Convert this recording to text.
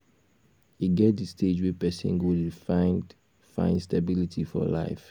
e get di stage wey person go dey find find stability for life